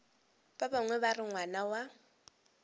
bangwe ba re ngwana wa